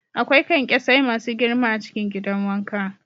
Akwai kyankyasai masu girma a cikin gidan wanka.